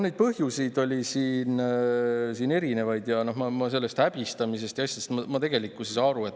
Neid põhjuseid oli siin erinevaid ja sellest häbistamisest ma aru ei saa.